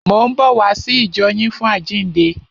Mò ń bọ̀ wá sí ìjọ yín fún àjíǹde.